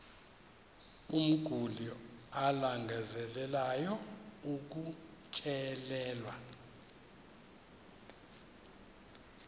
umguli alangazelelayo ukutyelelwa